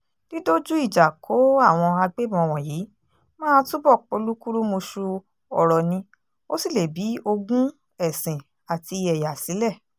dídójú ìjà kó àwọn agbébọn wọ̀nyí máa túbọ̀ polúkúrúmuṣu ọ̀rọ̀ ni ó sì lè bi ogún ẹ̀sìn àti ẹ̀yà sílẹ̀